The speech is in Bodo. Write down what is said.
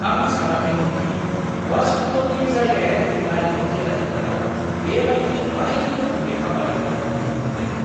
आं सानाखैमोन दि वाशिंटननि जायगायारि आरिमु गेलारिफोराव बेबायदि बायदि रोखोमनि खामानिफोर नुनो मोनगोन!